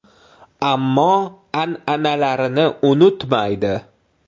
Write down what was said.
Ammo an’analarini unutmaydi.